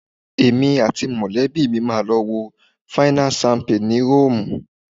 Èmi àti mọ̀lẹ́bí mi máa lọ wo fáínà ṣámpé ni Róòmù